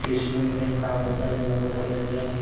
ते शिलाई मशीन काम करतानी दाखवल्या गेलेले आहे.